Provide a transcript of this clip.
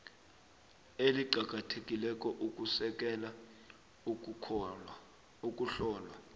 eliqakathekileko ukusekela ukuhlolwa